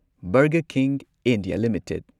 burger King India limited